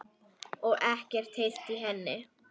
Og ekkert heyrt í henni?